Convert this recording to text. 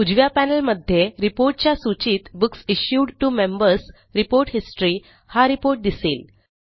उजव्या पॅनेलमध्ये Reportच्या सूचीतBooks issued to Members report history हा रिपोर्ट दिसेल